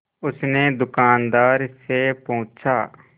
उसने दुकानदार से पूछा